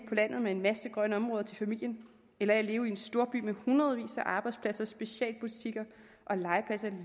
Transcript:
landet med en masse grønne områder til familien eller af at leve i en storby med hundredvis af arbejdspladser specialbutikker og legepladser